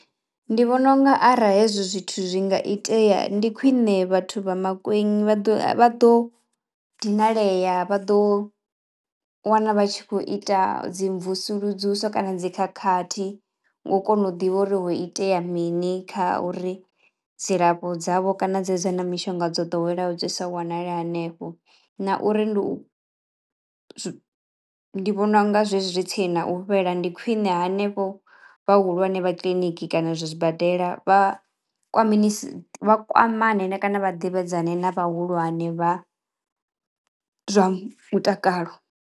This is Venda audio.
Ndi vhona unga arali hezwo zwithu zwi nga itea ndi khwiṋe vhathu vha Mankweng vha ḓo vha ḓo dinalea, vha ḓo wana vha tshi khou ita dzi mvusuludzuso kana dzi khakhathi ngo kono u ḓivha uri ho itea mini kha uri dzilafho dzavho kana dze dza na mishonga dzo ḓoweleaho dzi sa wanali hanefho na uri ndi u ndi vhona unga zwezwi zwi tsini nau fhela ndi khwine hanevho vhahulwane vha kiḽiniki kana zwibadela vha kwamenisi vha kwamane kana vha ḓivhadzane na vhahulwane vha zwa mutakalo.